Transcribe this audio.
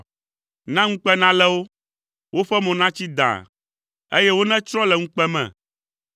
Na ŋukpe nalé wo, woƒe mo natsi dãa, eye wonetsrɔ̃ le ŋukpe me.